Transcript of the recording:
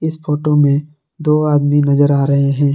इस फोटो में दो आदमी नजर आ रहे हैं।